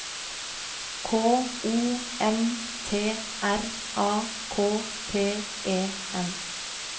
K O N T R A K T E N